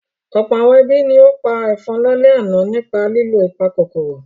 Ọ̀pọ̀ àwọn ẹbí ni ó pa ẹ̀fọn lálẹ́ àná nípa lílo ìpakòkòrò.